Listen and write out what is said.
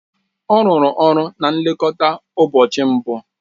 Ọ rụrụ ọrụ na nlekọta ụbọchị mbụ